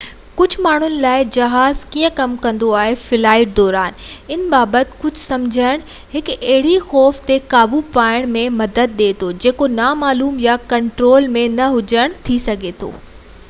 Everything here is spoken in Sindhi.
ڪجهه ماڻهن لاءِ جهاز ڪيئن ڪم ڪندو آهي ۽ هڪ فلائيٽ دوران ڇا ٿيندو آهي ان بابت ڪجهه سمجهڻ هڪ اهڙي خوف تي قابو پائڻ ۾ مدد ڏي ٿو جيڪو نامعلوم يا ڪنٽرول ۾ نه هجڻ ٿي سگهي ٿو